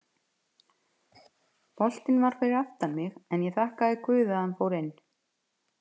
Boltinn var fyrir aftan mig en ég þakka guði að hann fór inn.